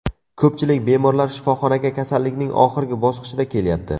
Ko‘pchilik bemorlar shifoxonaga kasallikning oxirgi bosqichida kelyapti.